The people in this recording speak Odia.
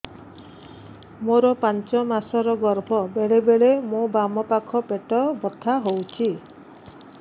ମୋର ପାଞ୍ଚ ମାସ ର ଗର୍ଭ ବେଳେ ବେଳେ ମୋ ବାମ ପାଖ ପେଟ ବଥା ହଉଛି